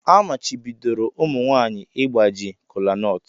Amachibidoro ụmụ nwanyị ịgbaji kolanut.